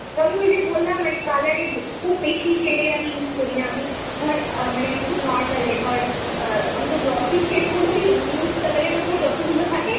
তবে ওই যে বললাম মানে colour এর খুব বেশি shade এর আমি use করিনা আমি। ধর আমি খুব normal এ। ধর হয়তো glossy shade গুলোরই nude colour এর ওপর যতগুলো থাকে